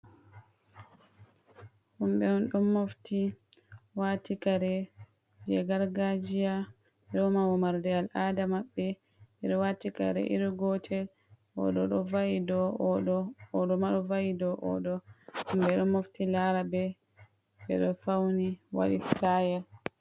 Himɓe on ɗon mofti wati kare je gargajiya ɗo woma wo marde al'ada mabɓe, ɓeɗo wati kare iri gotel oɗo ɗo va’i dow oɗo ma ɗo va'i dow oɗo, humɓe ɗon mofti lara ɓe ɓeɗo fauni waɗi stayel.